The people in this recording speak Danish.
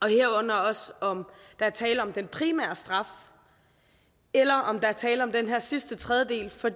herunder også om der er tale om den primære straf eller om der er tale om den her sidste tredjedel for